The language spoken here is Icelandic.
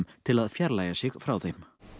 til fjarlægja sig frá þeim